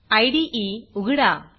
इदे उघडा